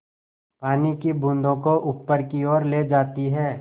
पानी की बूँदों को ऊपर की ओर ले जाती है